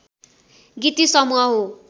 गीति समूह हो